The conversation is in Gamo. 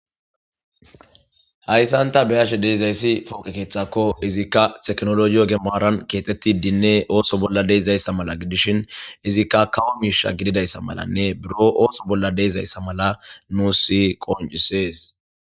hayssan ta be'ashe deizayssi pooqekeeththakko izikka teknologiyo gemaaran keetetti dinne ooso bolla deeizayssa mala gidishin izikka kawo miisha gididayssa malanne buro ooso bolla deezayssa mala nu si qoncisees